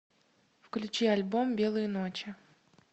включи альбом белые ночи